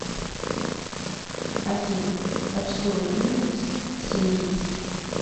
афина почтовый индекс симеиз